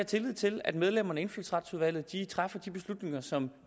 tillid til at medlemmerne af indfødsretsudvalget træffer de beslutninger som